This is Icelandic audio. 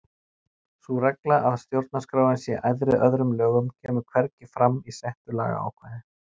Sú regla að stjórnarskráin sé æðri öðrum lögum kemur hvergi fram í settu lagaákvæði.